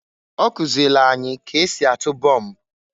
Ọkụzịlị anyị k'esi atụ bomb.